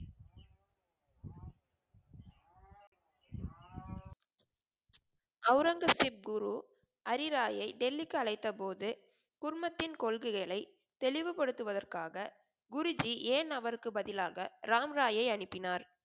ஔரங்கசீப் குரு ஹரி ராய்யை டெல்லிக்கு அழைத்த போது குடும்பத்தின் கொள்கைகளை தெளிவுப்படுத்துவதற்காக குரு ஜி ஏன் அவர்க்கு பதிலாக ராம் ராய் யை அனுப்பினார்